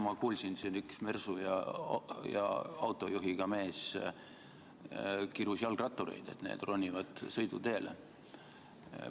Ma kuulsin, kuidas siin üks mersu ja autojuhiga mees kirus jalgrattureid, et need ronivad sõiduteele.